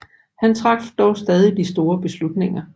Han traf dog stadig de store beslutninger